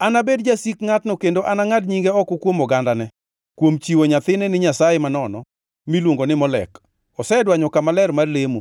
To kapo ni oganda jo-Israel ok odewo wach ngʼat mochiwo achiel kuom nyithinde ne Molek, ma